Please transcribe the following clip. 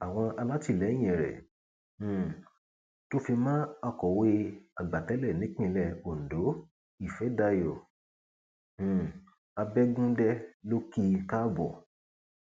àwọn alátìlẹyìn rẹ um tó fi mọ akọwé àgbà tẹlẹ nípìnlẹ ondo ìfẹdàyò um abẹgùndẹ ló kí i káàbọ